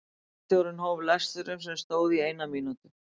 Bæjarstjórinn hóf lesturinn sem stóð í eina mínútu.